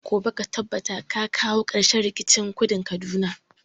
Gobe ka tabbata ka kawi karshen rikicin kudun kaduna!